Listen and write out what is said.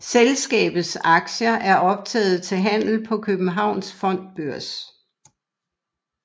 Selskabets aktier er optaget til handel på Københavns Fondsbørs